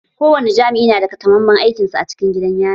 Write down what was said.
Ko wani jami'i na da takamamman aikin sa a cikin gidan yari.